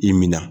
I minɛ